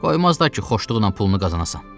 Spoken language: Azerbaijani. Qoymazlar ki xoşluqla pulunu qazanam.